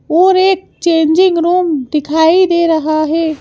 और एक changing room दिखाई दे रहा है।